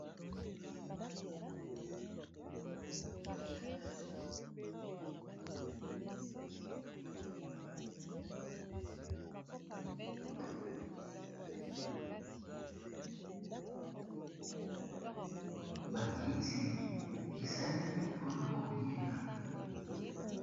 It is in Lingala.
Ba kiti esalemi mpona koliela.